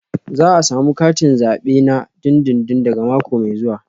Za a samu katin zabe na dindindin daga mako mai zuwa